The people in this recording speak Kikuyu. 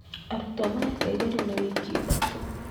Arutwo mareka igeranio na wiki ithatũ.